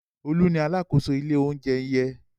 Olú ni alákòóso ilé-oúnjẹ yẹn.